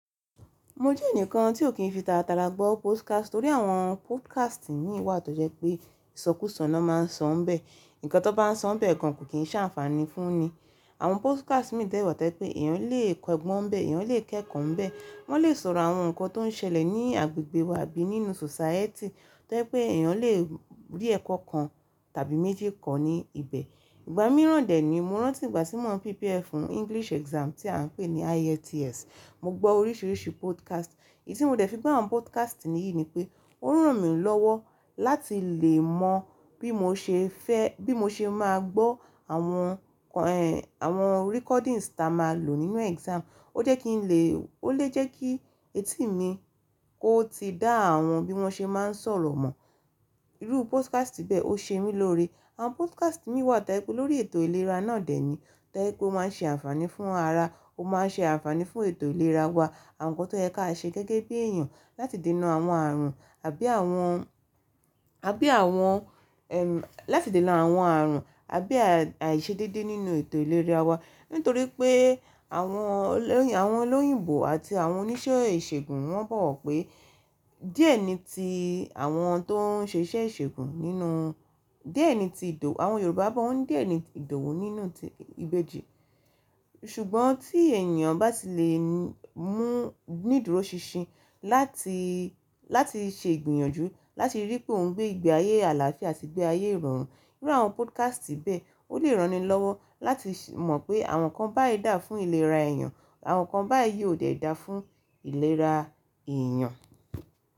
Mo jẹ́ ẹnìkan tí ò kí ń fi tàràtàrà gbọ́ podcast, torí àwọn podcast mì wà tó jẹ́ pé ìsọkúsọ̀nà na máa ń sọ ń bẹ. Ǹkan tó bá ń sọ ń bẹ́ẹ̀ gan kò kí ń ṣé ànfàní fún ni. Àwọn podcast mì dewa toje pé èèyàn lè kọ ẹgbọ́n ń bẹ, èèyàn lè kẹ́kọ̀ọ́ ń bẹ, wọ́n lè sọ̀rọ̀ àwọn ǹkan tó ń ṣẹlẹ̀ ní agbègbè wa àbí nínú society, tó jẹ́ pé èèyàn lè rí ẹ̀kọ́ kan tàbí méjì ko ní ibẹ̀. Ìgbà míràn dè ni mo rántí ìgbà tí mò ń prepare fún English exam tí à ń pè ní IELTS, mo gbọ́ oríṣiríṣi podcast. Èyí tí mo dẹ̀ fi gbọ́ àwọn podcast niyìí ni pé ó ràn mí lọ́wọ́ láti lè mọ bí mo ṣe fẹ́, bí mo ṣe máa gbọ́ àwọn, àwọn recordings tá a máa lò nínú exam. Ó jẹ́ kí ń lè ó lè jẹ́ kí etí mi kó ti dá àwọn bí wọ́n ṣe máa ń sọ̀rọ̀ mọ̀. Irú podcast bẹ́ẹ̀ ó ṣe mí lóore. Àwọn podcast mì wà toje pe lórí ètò ìlera náà dè ni, tó jẹ́ pé ó máa ń ṣe ànfàní fún ara. Ó máa ń ṣe ànfàní fún ètò ìlera wa. Àwọn ǹkan tó ye kí a ṣe gẹ́gẹ́ bí èèyàn láti dènà àwọn ààrùn àbí àwọn, àbí àwọn, láti dènà àwọn ààrùn àbí àìṣedédé nínú ètò ìlera wa. Nítorí pé àwọn olóyìn, àwọn olóyìnbó àti àwọn oníṣẹ́ ìṣègùn wọ́n bọ̀ wọ̀ pé díẹ̀ ni tí àwọn tó ń ṣe iṣẹ́ ìṣègùn nínú-- díẹ̀ ni tí ìdọ̀, àwọn Yorùbá bọ̀ wọ́n díẹ̀ ni ìdọ̀wu nínú ìbejì. Ṣùgbọ́n tí èniyan bá ti lè mú nídùró ṣinṣin láti, láti ṣe ìgbìyànjú, láti rí pé òun gbé ìgbé ayé àlàáfíà sígbé ayé ìrọ̀rùn, irú àwọn podcast bẹ́ẹ̀ ó lè rán ni lọ́wọ́ láti se mọ̀ pé àwọn kan bá yí dà fún ìlera èèyàn, àwọn kan bá yí ò dẹ̀ dà fún ìlera èèyàn.